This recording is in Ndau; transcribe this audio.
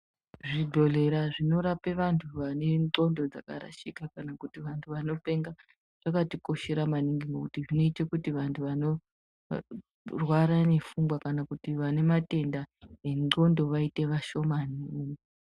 Zvidholera zvinorapa antu vane ndhlondo dzakarashika ,kana kuti vantu vanopenga zvakatikoshera maningi ngekuti zvinoite kuti vanhu vanorwara nepfungwa ,kana kuti vane matenda endhlondo vaite vashomani.